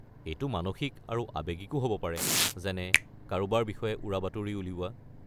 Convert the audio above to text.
এইটো মানসিক আৰু আৱেগিকো হ'ব পাৰে যেনে কাৰোবাৰ বিষয়ে উৰাবাতৰি উলিওৱা।